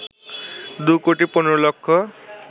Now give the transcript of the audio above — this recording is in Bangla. ২ কোটি ১৫ লক্ষ